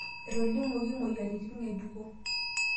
etolimuoki imoyiaritin ngejuko